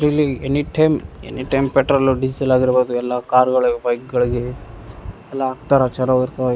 ಇಲ್ಲಿ anytime anytime petrol diesel ಆಗಿರ್ಬೋದು ಎಲ್ಲ ಕಾರ್ಗಳಿಗೆ ಬೈಕ್ಗಳಿಗೆ ಎಲ್ಲ ಹಾಕ್ತಾರಾ ಚಲೋ ಇರ್ತವ ಇ. .